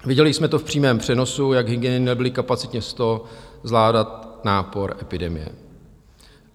Viděli jsme to v přímém přenosu, jak hygieny nebyly kapacitně s to zvládat nápor epidemie.